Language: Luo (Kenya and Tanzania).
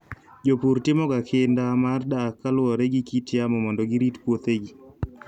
Jopur timoga kinda mar dak kaluwore gi kit yamo mondo girit puothegi.